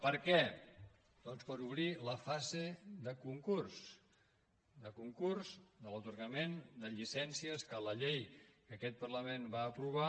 per què doncs per obrir la fase de concurs de concurs de l’atorgament de llicències que la llei que aquest parla·ment va aprovar